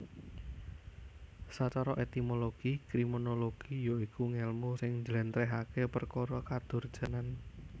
Sacara etimologi kriminologi ya iku ngèlmu sing njléntrèhaké perkara kadurjanan